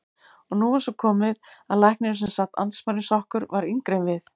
Og nú var svo komið að læknirinn sem sat andspænis okkur var yngri en við.